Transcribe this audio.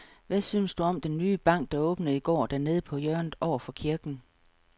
Hvad synes du om den nye bank, der åbnede i går dernede på hjørnet over for kirken?